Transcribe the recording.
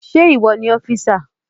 Ṣé ìwọ ni ọ́físà?